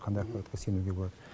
қандай ақпаратқа сенуге болады